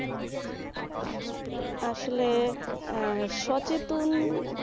আসলে আহ সচেতন,